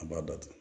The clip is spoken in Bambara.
A b'a datugu